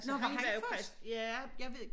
Har lige været præst ja jeg ved ikke